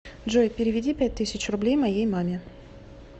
джой переведи пять тысяч рублей моей маме